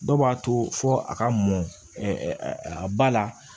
Dɔw b'a to fɔ a ka mɔn a ba la